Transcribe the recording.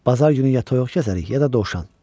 Bazar günü ya toyuq kəsərik, ya da dovşan.